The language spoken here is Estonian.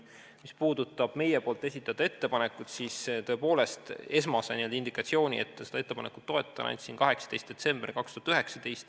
Mis puudutab meie esitatud ettepanekut, siis tõepoolest, esmase n-ö indikatsiooni, et seda ettepanekut tuleks toetada, andsin 18. detsembril 2019.